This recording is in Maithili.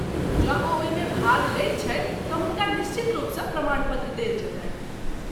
जँ ओ ओहिमे भाग लैत छथि तँ हुनका निश्चित रूपसँ प्रमाणपत्र देल जेतनि।